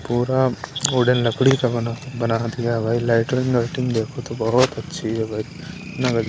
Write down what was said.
पूरा वुडन लकड़ी का बना बना दिया भाई लाइटिंग देखो तो बहुत अच्छी है --